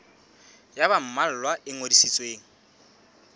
ya ba mmalwa e ngodisitsweng